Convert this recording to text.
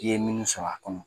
I ye minnu sɔr'a kɔnɔ.